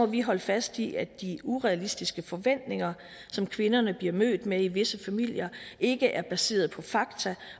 vi holde fast i at de urealistiske forventninger som kvinderne bliver mødt med i visse familier ikke er baseret på fakta